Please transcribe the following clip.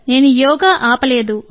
నేను యోగా ఆపలేదు